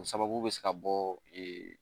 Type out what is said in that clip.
O sababu bɛ se ka bɔ